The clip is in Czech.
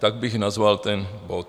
Tak bych nazval ten bod.